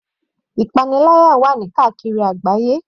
Ìpaniláyà wà ní káàkiri àgbáyé.